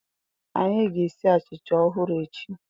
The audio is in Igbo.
Anyị ga-esi achịcha ọhụrụ echi.